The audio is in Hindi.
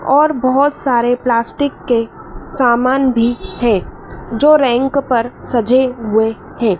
और बहुत सारे प्लास्टिक के सामान भी है जो रैंक पर सजे हुए हैं।